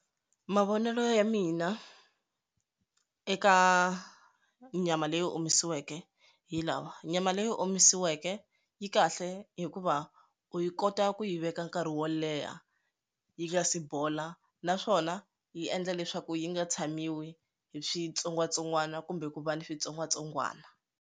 Mavonelo ya mina eka nyama leyi omisiweke hi lawa nyama leyi omisiweke yi kahle hikuva u yi kota ku yi veka nkarhi wo leha yi nga si bola naswona yi endla leswaku yi nga tshamiwi hi switsongwatsongwana kumbe ku va ni switsongwatsongwana.